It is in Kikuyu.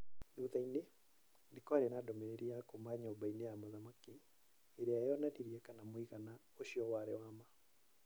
Thutha-inĩ, nĩ kwarĩ na ndũmĩrĩri kuuma nyũmba-inĩ ya mũthamaki. ĩrĩa yoonanirie kana mũigana ũcio warĩ wa ma.